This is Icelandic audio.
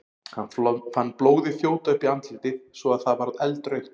Hann fann blóðið þjóta upp í andlitið svo að það varð eldrautt.